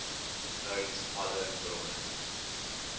uit alle bronne